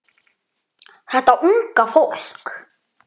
Þetta unga fólk.